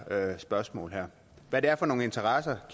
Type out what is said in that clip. her spørgsmål hvad det er for nogle interesser